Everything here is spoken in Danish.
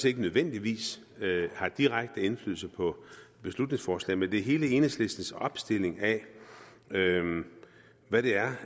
ikke nødvendigvis har direkte indflydelse på beslutningsforslaget det er hele enhedslistens opstilling af hvad der